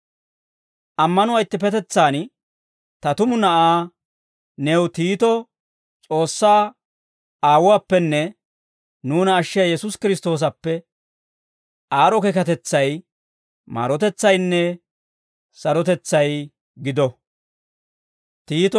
Ammanuwaa ittippetetsaan ta tumu na'aa new Tiitoo, S'oossaa Aawuwaappenne nuuna ashshiyaa Yesuusi Kiristtoosappe, aad'd'o keekatetsay, maarotetsaynne sarotetsay gido.